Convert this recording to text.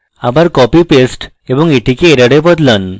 আবার copypaste এবং এটিকে error এ বদলান